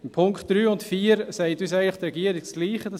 Beim Punkt 3 und 4 sagt uns die Regierung eigentlich dasselbe: